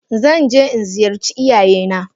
Zanje jnziyarci iyayena.